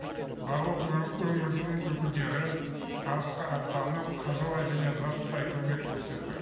барлық өңірдің өкілдері арысқа аттанып қаржылай және заттай көмек көрсетті